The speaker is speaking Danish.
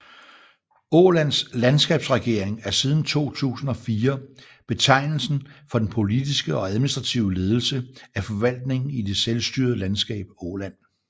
Ålands landskapsregering er siden 2004 betegnelsen for den politiske og administrative ledelse af forvaltningen i det selstyrede landskab Åland